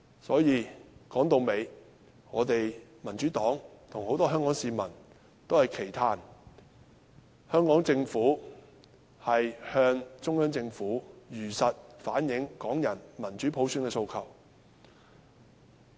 所以，說到底，我們民主黨與很多香港市民均期盼香港政府能向中央政府如實反映港人對民主普選的訴求。